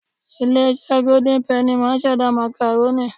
Ilé iṣẹ́ Golden Penny máà ń ṣẹ̀dá. Màkàrónì